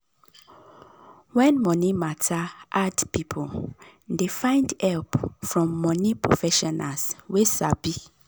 when money matter hard people dey find help from money professionals wey sabi.